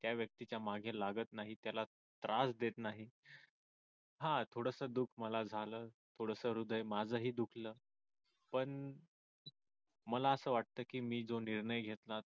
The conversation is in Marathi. त्या व्यक्तीच्या मागे लागत नाही त्याला त्रास देत नाही हा थोडासा दुःख मला झालं थोडासा हृदय माझं ही दुखलं पण मला असं वाटत की मी जो निर्णय घेतला